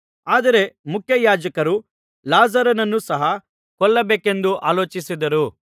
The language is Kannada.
ಆದರೆ ಮುಖ್ಯಯಾಜಕರು ಲಾಜರನನ್ನೂ ಸಹ ಕೊಲ್ಲಬೇಕೆಂದು ಆಲೋಚಿಸಿದರು